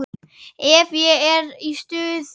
Ef ég er í stuði.